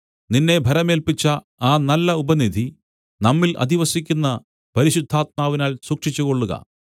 നിന്നെ ഭരമേല്പിച്ച ആ നല്ല ഉപനിധി നമ്മിൽ അധിവസിക്കുന്ന പരിശുദ്ധാത്മാവിനാൽ സൂക്ഷിച്ചുകൊള്ളുക